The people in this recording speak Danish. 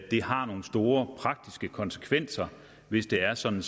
det har nogle store praktiske konsekvenser hvis det er sådan